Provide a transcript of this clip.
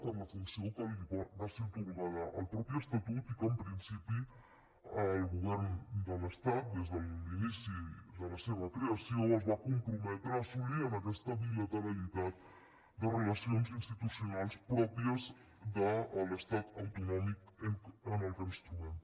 per la funció que li va ser atorgada al mateix estatut i que en principi el govern de l’estat des de l’inici de la seva creació es va comprometre a assolir en aquesta bilateralitat de relacions institucionals pròpies de l’estat autonòmic en què ens trobem